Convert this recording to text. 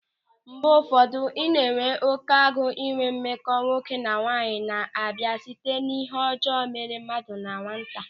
Mgbe ụfọdụ, ị na-enwe oké agụ ịnwe mmekọ nwoke na nwaanyị na-abịa site n'ịhe ọjọọ mere mmadụ na nwata.